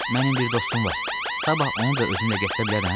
Mənim bir dostum var, sabah onu da özümlə gətirə bilərəm?